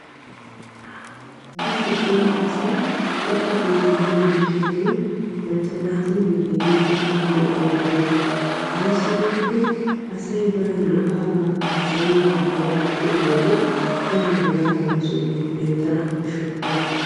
daro cora asay tukke keetti yiyo gishshaayyo macca naatuyyoo hegee daro lo"o gidenna. ayissi giikko asay bana lo"abaa haasayiiddi hegan pe"iyode daro hegaa mala sohuwan beettana koshshokkona.